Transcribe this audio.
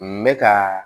N bɛ ka